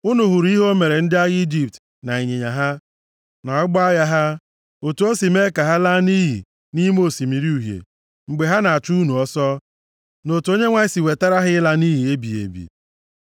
Unu hụrụ ihe o mere ndị agha Ijipt na ịnyịnya ha, na ụgbọ agha ha. Otu o si mee ka ha laa nʼiyi nʼime Osimiri Uhie, mgbe ha na-achụ unu ọsọ, na otu Onyenwe anyị si wetara ha ịla nʼiyi ebighị ebi.